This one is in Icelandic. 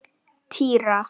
Týra